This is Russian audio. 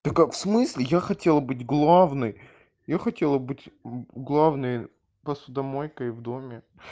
такая в смысле я хотела быть главной я хотела быть главной посудомойкой в доме